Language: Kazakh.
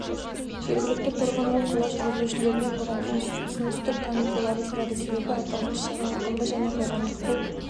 жергілікті тұрғын ол қала жүргізушілерінен бұған түсіністік танытуларын сұрады себебі аталмыш шара ауқымды және қоғамдық бұл